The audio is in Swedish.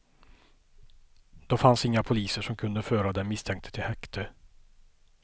Då fanns inga poliser som kunde föra den misstänkte till häkte.